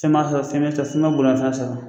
Fɛn m'a fɛ o fɛn m'e fɛ o f'u m'a boli ka taa fɛ